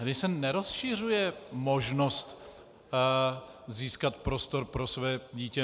Tady se nerozšiřuje možnost získat prostor pro své dítě.